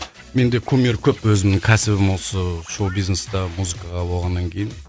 менде кумир көп өзімнің кәсібім осы шоу бизнеста музыкаға болғаннан кейін